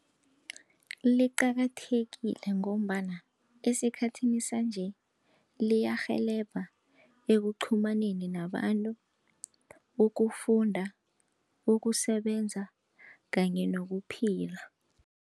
Liqakathekile ngombana esikhathini sanje, liyarhelebha ekuqhumaneni nabantu, ukufunda, ukusebenza kanye nokuphila.